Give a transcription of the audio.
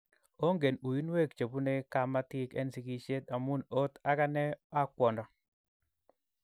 Onken uinweek chepune kamatik en sigisheet amun oot aganee a kwondo